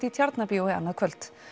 í Tjarnarbíói annað kvöld